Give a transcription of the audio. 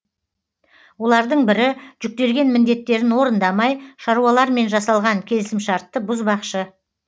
олардың бірі жүктелген міндеттерін орындамай шаруалармен жасалған келісімшартты бұзбақшы